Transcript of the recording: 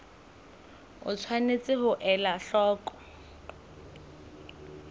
o tshwanetse ho ela hloko